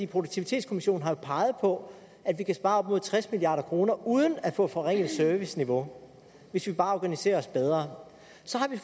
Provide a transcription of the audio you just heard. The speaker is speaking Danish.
produktivitetskommissionen har jo peget på at vi kan spare op mod tres milliard kroner uden at få et forringet serviceniveau hvis vi bare organiserer os bedre så